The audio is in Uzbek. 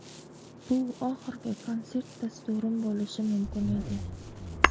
Bu oxirgi konsert dasturim bo‘lishi mumkin edi.